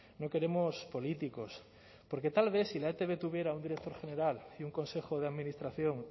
no queremos políticos porque tal vez si la etb tuviera un director general y un consejo de administración